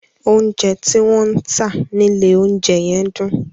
Oúnjẹ tí wọ́n ń tà nílé oúnjẹ yẹn dùn.